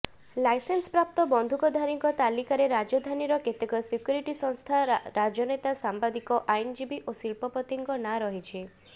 ଲାଇସେନ୍ସପ୍ରାପ୍ତ ବନ୍ଧୁକଧାରୀଙ୍କ ତାଲିକାରେ ରାଜଧାନୀର କେତେକ ସିକ୍ୟୁରିଟି ସଂସ୍ଥା ରାଜନେତା ସାମ୍ବାଦିକ ଆଇନଜୀବୀ ଓ ଶିଳ୍ପପତିଙ୍କ ନାଁ ରହିଛି